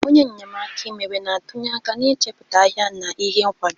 Onye nnyemaaka imewe na-atụnye aka n'ichepụta ahịa na ihe nkwado